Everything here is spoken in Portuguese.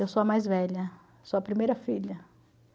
Eu sou a mais velha, sou a primeira filha.